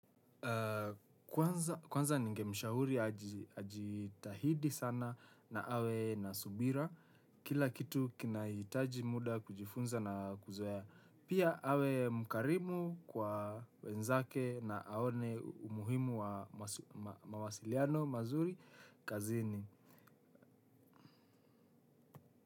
Kwanza ninge mshahuri ajitahidi sana na awe nasubira. Kila kitu kinaitaji muda kujifunza na kuzoea. Pia awe mkarimu kwa wenzake na aone umuhimu wa mawasiliano mazuri kazini.